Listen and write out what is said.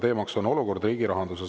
Teemaks on olukord riigi rahanduses.